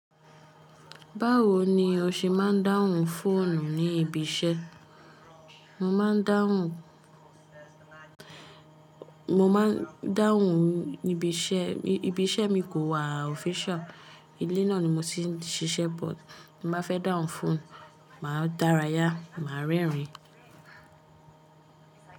Báwo ni o ṣe máa ń dáhùn fóònù ní ibi iṣẹ́? Mo má ń dáhùn, mo máa ń dáhùn nibi iṣẹ́, ibi iṣẹ́ mi kò wà official. Ilé náà ni mo ti ń ṣiṣẹ́ but bí mo bá fẹ́ dáhùn fóònù, mà á dára yá, mà á rẹ́rìn ín.